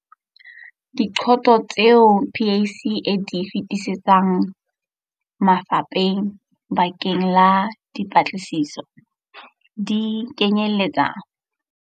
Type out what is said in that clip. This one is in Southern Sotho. Diqoso tseo PSC e di feti setsang mafapheng bakeng la dipatlisiso, di kenyeletsa.